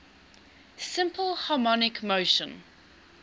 simple harmonic motion